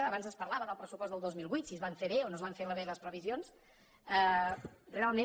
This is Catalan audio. abans es parlava del pressupost del dos mil vuit si es van fer bé o no es van fer bé les previsions realment